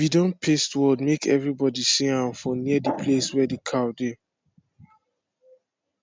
we don paste word make every body see am for near the place wey the cow dey